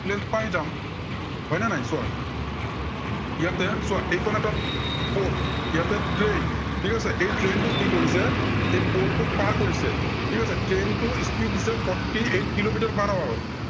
length পায় যাম। হয় নে নাই চোৱা ইয়াতে চোৱা এইখন এটা pool ইয়াতে train ঠিক আছে। এই train টো কি কৰিছে, এই pool টোক পাৰ কৰিছে, ঠিক আছে। train টোৰ speed দিছে fourty eight kilometre per hour ত